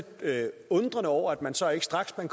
lidt undrende over at man så straks man